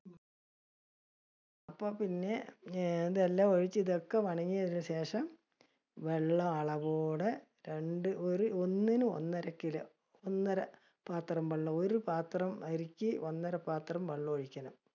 അപ്പൊ പിന്നെ ഇതെല്ലാം ഒഴിച്ച്, ഇതൊക്കെ ശേഷം വെള്ള അളവോടെ, രണ്ട് ഒരു ഒന്നിന് ഒന്നര kilo, ഒന്നര പാത്രം വെള്ളം, ഒരു പാത്രം അരിക്ക് ഒന്നര പാത്രം വെള്ളം ഒഴിക്കണം.